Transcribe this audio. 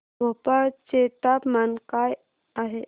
भोपाळ चे तापमान काय आहे